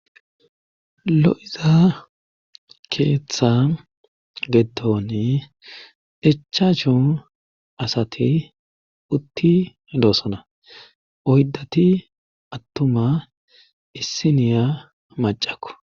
Lo'iza keeththa geetoni echaachu asati utti doossona oydati attuma issiniya macakku